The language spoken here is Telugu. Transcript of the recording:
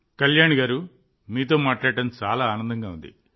కళ్యాణి గారూ మీతో మాట్లాడటం చాలా ఆనందంగా ఉంది